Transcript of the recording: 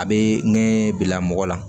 A bɛ ɲɛ bila mɔgɔ la